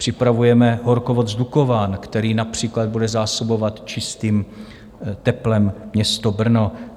Připravujeme horkovod z Dukovan, který například bude zásobovat čistým teplem město Brno.